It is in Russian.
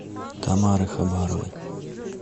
тамары хабаровой